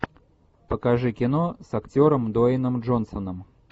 покажи кино с актером дуэйном джонсоном